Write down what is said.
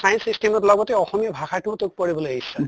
science stream ৰ লগতে অসমীয়া ভাষাতোও তো পঢ়িবলে ইচ্ছা